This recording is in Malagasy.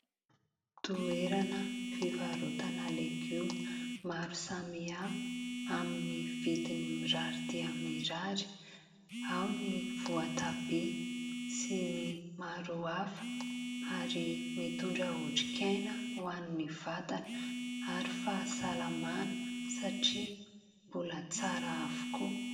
Toerana fivarotana legioma maro samihafa amin'ny vidiny mirary dia mirary, ao ny voatabia sy ny maro hafa ary mitondra otrikaina ho an'ny vatana ary fahasalamana satria mbola tsara avokoa.